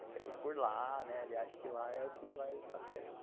Ele quer ir por lá, né, ele acha que lá é o que vai dar certo.